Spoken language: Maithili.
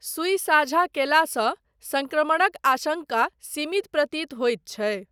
सुई साझा कयलासँ सङ्क्रमणक आशङ्का सीमित प्रतीत होइत छै।